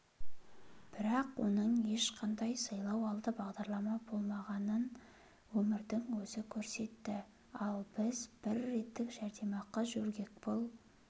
бірақ оның ешқандай сайлау алды бағдарлама болмағанын өмірдің өзі көрсетті ал біз бір реттік жәрдемақы жөргекпұл